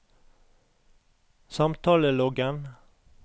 samtaleloggen